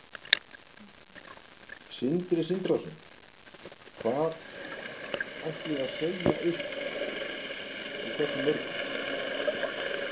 Sindri Sindrason: Hvar ætliði að segja upp og hversu mörgum?